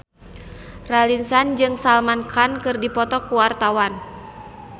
Raline Shah jeung Salman Khan keur dipoto ku wartawan